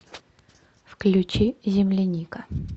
включи земляника